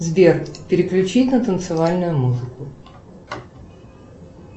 сбер переключить на танцевальную музыку